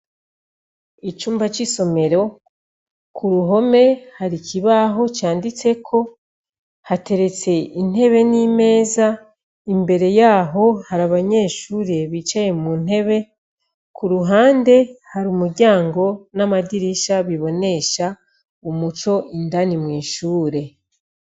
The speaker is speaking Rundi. Icumba c'isomero ku ruhome hari ikibaho canditseko, hateretse intebe n'imeza, imbere yaho hari abanyeshure bicaye mu ntebe, ku ruhande hari umuryango n'amadirisha bibonesha umuco indani mw'ishure.